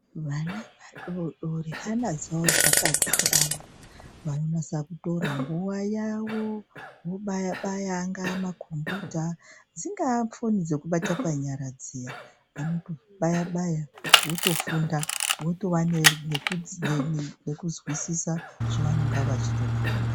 Vana vadoodori hana dzavo dzaka dzikama vano natsa kutora nguva yavo vobaya baya angaa makhombuyuta dzingaa fon dzokubata panyara dziya vanotobaya baya votofunda, votova nekuzwisisa zvovanonga vachitofunda.